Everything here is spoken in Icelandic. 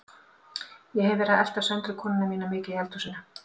Ég hef verið að elta Söndru konuna mína mikið í eldhúsinu.